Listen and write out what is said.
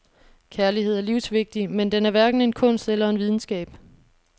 Kærlighed er livsvigtig, men den er hverken en kunst eller en videnskab.